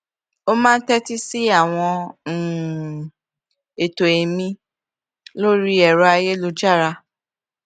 ó máa ń tétí sí àwọn um ètò ẹmí lórí ẹrọ ayélujára